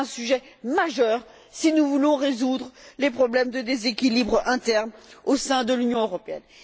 C'est un sujet majeur si nous voulons résoudre les problèmes de déséquilibre interne au sein de l'Union européenne.